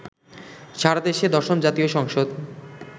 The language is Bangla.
সারাদেশে দশম জাতীয় সংসদ